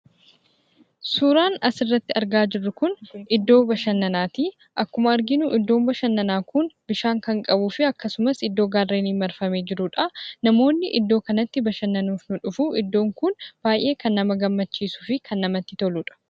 Suuraan asirratti argaa jirru kun iddoo bashannanaati. Akkuma arginu iddoon bashanannaa kun bishaan kan qabuu fi akkasumas iddoo gaarreeniin marfamee jirudha. Akkasumas namootni iddoo kanatti bashannanuuf ni dhufu. Iddoon kun baay'ee kan nama gammachiisuu fi kan namatti toludha.